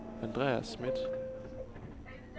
Andreas Schmidt